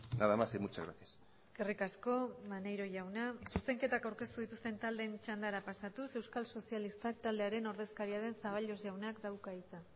nada más y muchas gracias eskerrik asko maneiro jauna zuzenketak aurkeztu dituzten taldeen txandara pasatuz euskal sozialistak taldearen ordezkaria den zaballos jaunak dauka hitza